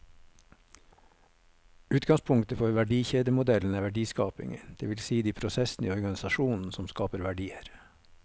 Utgangspunktet for verdikjedemodellen er verdiskapingen, det vil si de prosessene i organisasjonen som skaper verdier.